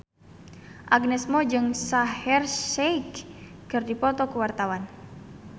Agnes Mo jeung Shaheer Sheikh keur dipoto ku wartawan